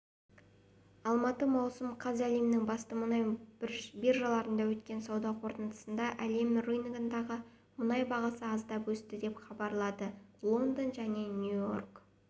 алматы маусым қаз әлемнің басты мұнай биржаларында өткен сауда қортындысында әлем рыногындағы мұнай бағасы аздап өсті деп хабарлады лондон және нью-йорк